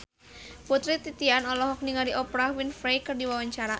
Putri Titian olohok ningali Oprah Winfrey keur diwawancara